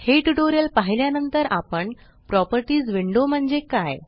हे ट्यूटोरियल पाहिल्या नंतर आपण प्रॉपर्टीस विंडो म्हणजे काय